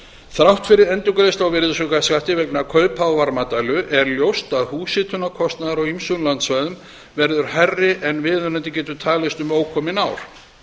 þrátt fyrir endurgreiðslu á virðisaukaskatti vegna kaupa á varmadælu er ljóst að húshitunarkostnaður á ýmsum landsvæðum verður hærri en viðunandi getur talist um ókomin ár